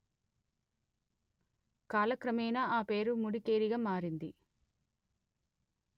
కాలక్రమేణ ఆ పేరు ముడికేరిగా మారింది